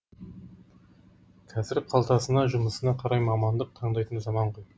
қазір қалтасына жұмысына қарай мамандық таңдайтын заман ғой